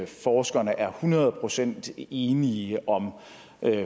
forskerne er hundrede procent enige om